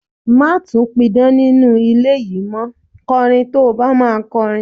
Má tún pidán nínú ilé yìí mó, kọrin tó bá máa kọrin.